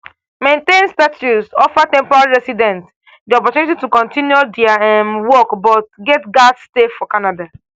maintained status offer temporary residents di opportunity to continue dia um work but get gatz stay for canada.